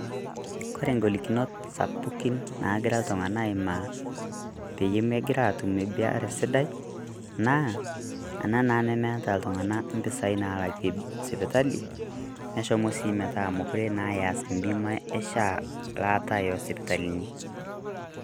Kore golikinot sapukin nagiraa ltung'ana aimaa peyie megira atum ebaare sidai naa ana naa nemeeta ltung'ana mpisai naalake sipitali. Neshomoo sii metaa mekore naa eas mbima e SHA laata o sipitalini.